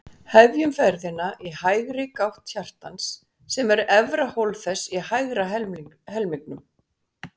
Hefjum ferðina í hægri gátt hjartans, sem er efra hólf þess í hægri helmingnum.